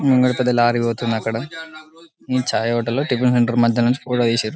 ముంగట పెద్ద లారీ పోతుందకాడా మేం చాయ్ హోటల్ లో టిఫన్ సెంటర్ మాదాలనుంచి ఏషిన్రు .